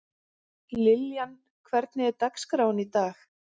Liljan, hvernig er dagskráin í dag?